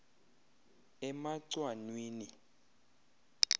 emacwanwini